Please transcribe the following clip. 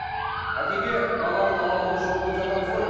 әкеге баланың алалығы жоқ деп жатамыз ғой